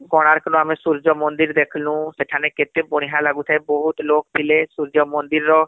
କୋଣାର୍କ ନୁ ଆମେ ସୂର୍ଯ୍ୟ ମନ୍ଦିର ଦେଖଃନୁ , ସେଠାନେ କେତେ ବଢିଆ ଲାଗୁଥାଏ ବହୁତ ଲୁକ ଥିଲେ ସୂର୍ଯ୍ୟ ମନ୍ଦିର ର